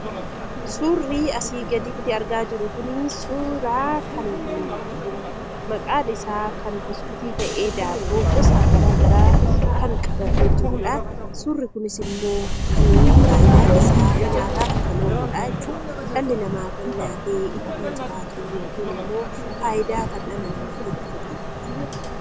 Suurri asii gaditti argaa jirru kun suuraa kan maqaan isaa buskuutii ta'ee daabboo gosa garaagaraa kan qabatee jirudha. Suurri kunis immoo kan fayidaa isaa nyaataaf kan ooludha jechuudha. Dhalli namaa kan nyaatee ittiin jiraatu yookiin immoo fayidaa kan dhala namaatiif qabu ta'aa jechuudha.